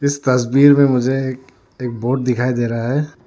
इस तस्वीर में मुझे एक बोट दिखाई दे रहा है।